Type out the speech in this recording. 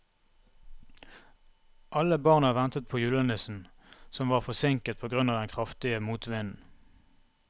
Alle barna ventet på julenissen, som var forsinket på grunn av den kraftige motvinden.